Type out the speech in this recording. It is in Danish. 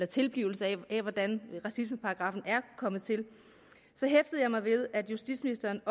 tilblivelse altså hvordan racismeparagraffen er kommet til så hæftede jeg mig også ved at justitsministeren